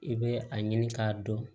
I bɛ a ɲini k'a dɔn